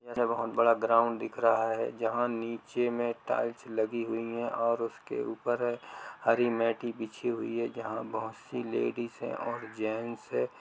यह बहुत बड़ा ग्राउंड दिख रहा है जहाँ नीचे में टाइल्स लगी हुई है और उसके ऊपर हरी मैटे बिछी हुई है जहाँ बहुत सी लेडीज है और जेंट्स है।